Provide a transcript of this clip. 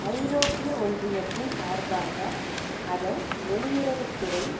ஐரோப்பிய ஒன்றியத்தின் சார்பாக அதன் வெளியுறவு துறை